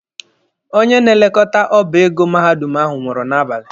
Onye na-elekọta ọba ego mahadum ahụ nwụrụ n'abalị.